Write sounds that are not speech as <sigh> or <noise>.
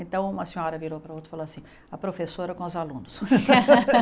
Então, uma senhora virou para a outra e falou assim, a professora com os alunos. <laughs>